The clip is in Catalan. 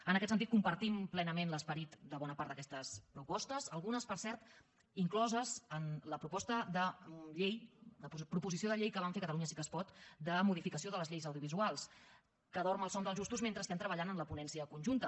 en aquest sentit compartim plenament l’esperit de bona part d’aquestes propostes algunes per cert incloses en la proposició de llei que vam fer catalunya sí que es pot de modificació de les lleis audiovisuals que dorm el son dels justos mentre estem treballant en la ponència conjunta